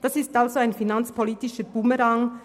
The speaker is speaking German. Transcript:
Das ist somit ein finanzpolitischer Bumerang: